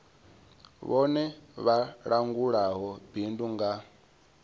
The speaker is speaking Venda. vhone vha langulaho bindu nga